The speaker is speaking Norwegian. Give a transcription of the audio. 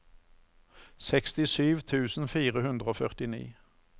sekstisju tusen fire hundre og førtini